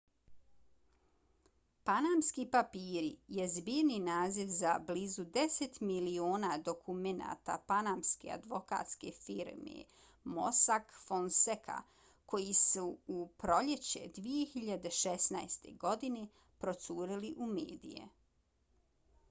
panamski papiri je zbirni naziv za blizu deset miliona dokumenata panamske advokatske firme mossack fonseca koji su u proljeće 2016. godine procurili u medije